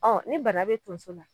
Ɔn ni bana be tonso la